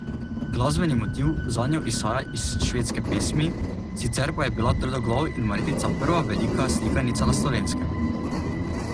Glasbeni motiv zanjo izhaja iz švedske pesmi, sicer pa je bila Trdoglav in Marjetica prva velika slikanica na Slovenskem.